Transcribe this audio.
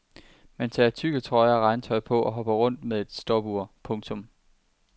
Man tager tykke trøjer og regntøj på og hopper rundt med et stopur. punktum